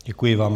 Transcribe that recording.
Děkuji vám.